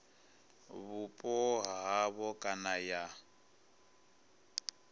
vhupo ha havho kana ya